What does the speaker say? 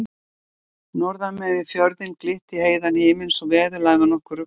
Norðan megin við fjörðinn glitti í heiðan himin svo veðurlagið var nokkuð ruglandi.